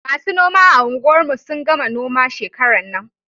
Masu noma a unguwar mu sun gama noma shekaran nan